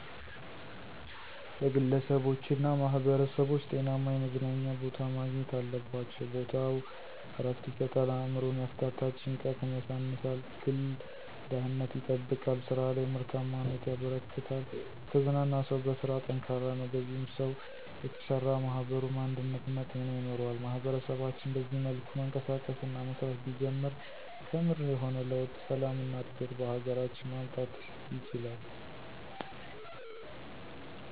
ለግለሰቦችና ማህበረሰቦች ጤናማ የመዝናኛ ቦታ ማግኘት አለባቸው። ቦታው ዕረፍት ይሰጣል፣ አእምሮን ያፍታታል፣ ጭንቀትን ያሳንሳል፣ ግል ደህንነት ይጠብቃል፣ ስራ ላይ ምርታማነት ያበረክታል። የተዝናና ሰው በስራ ጠንካራ ነው፣ በዚህ ሰው የተሰራ ማኅበሩም አንድነትና ጤና ይኖረዋል። ማህበረሰባችን በዚህ መልኩ መንቀሳቀስ እና መስራት ቢጀምር ከምር የሆነ ለውጥ፣ ሰላም እና እድገት በሀገራችን ማምጣት ይችላል።